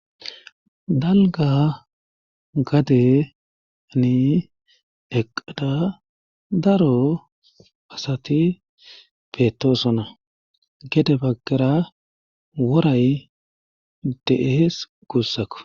dalga gadeni eqada daro asati beetosona gede baggera woray de7ees gussako